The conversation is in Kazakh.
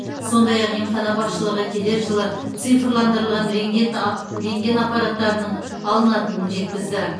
сондай ақ емхана басшылығы келер жылы цифрландырылған рентген аппараттарының алынатынын жеткізді